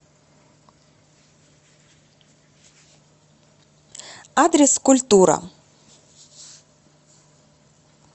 адрес культура